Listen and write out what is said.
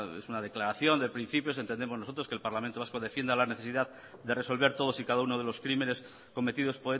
es una declaración de principios entendemos nosotros que el parlamento vasco defienda la necesidad de resolver todos y cada uno de los crímenes cometidos